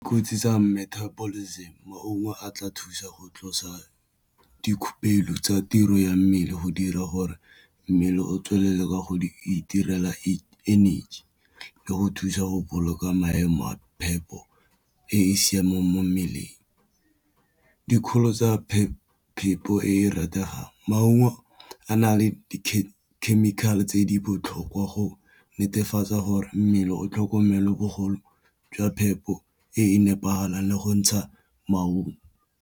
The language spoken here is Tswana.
Kotsi tsa metabolism maungo a tla thusa go tlosa dikhupelo tsa tiro ya mmele go dira gore mmele o tswelele ka go di itirela energy le go thusa go boloka maemo a phepo e e siameng mo mmeleng, dikgolo tsa phepo e e rategang maungo a na le di chemical-e tse di botlhokwa go netefatsa gore mmele o tlhokomelo bogolo jwa phepo e e nepagalang le go ntsha maungo.